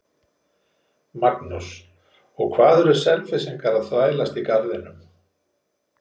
Magnús: Og hvað eru Selfyssingar að þvælast í Garðinum?